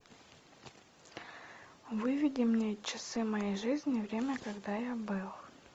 выведи мне часы моей жизни время когда я был